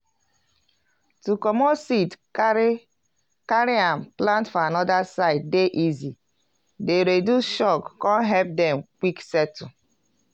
to comot seed carry carry am plant for anoda side dey easy dey reduce shock con help dem quick settle.